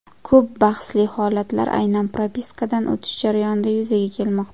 Ko‘p bahsli holatlar aynan propiskadan o‘tish jarayonida yuzaga kelmoqda.